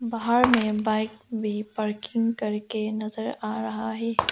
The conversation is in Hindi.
बाहर मे बाइक भी पार्किंग करके नजर आ रहा है।